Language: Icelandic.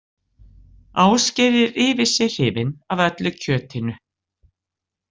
Ásgeir er yfir sig hrifinn af öllu kjötinu.